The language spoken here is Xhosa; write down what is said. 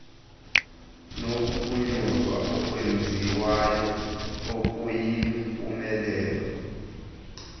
nokuphunyezwa okwenziwayo okuyimpumelelo